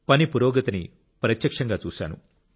పని పురోగతిని ప్రత్యక్షంగా చూశాను